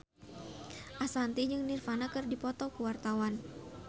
Ashanti jeung Nirvana keur dipoto ku wartawan